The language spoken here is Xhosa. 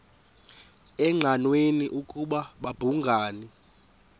engqanweni ukuba babhungani